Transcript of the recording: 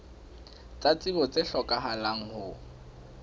tsa tsebo tse hlokahalang ho